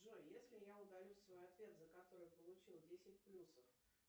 джой если я удалю свой ответ за который получил десять плюсов